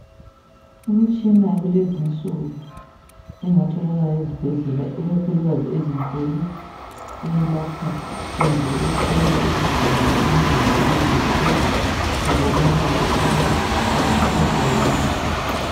imtshina yakulezinsuku engatholakala ezibhedlela ikakhulukazi ezinkulu eyelapha kumbe ehlola izigulane emzimbeni yazo ukuze kubonakale ukuba bakhathazwa kuyini